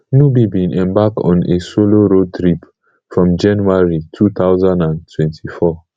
nubi bin embark on a solo road trip from january two thousand and twenty-four